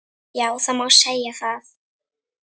Já það má segja það.